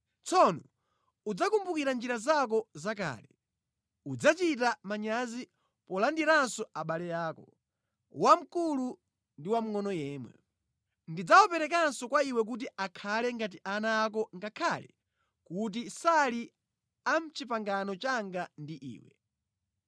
Tsono udzakumbukira njira zako zakale. Udzachita manyazi polandiranso abale ako, wamkulu ndi wamngʼono yemwe. Ndidzawaperekanso kwa iwe kuti akhale ngati ana ako ngakhale kuti sali a mʼpangano langa ndi iwe.